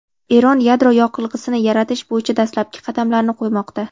Eron yadro yoqilg‘isini yaratish bo‘yicha dastlabki qadamlarni qo‘ymoqda.